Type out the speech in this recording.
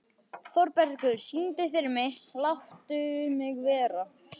Þórbergur, syngdu fyrir mig „Láttu mig vera“.